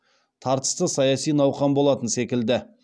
тартысты саяси науқан болатын секілді